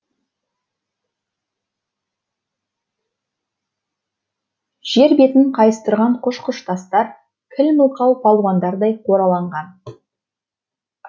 жер бетін қайыстырған құж құж тастар кіл мылқау палуандардай қораланған